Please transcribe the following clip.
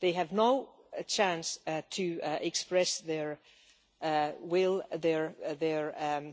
They have no chance to express their will and their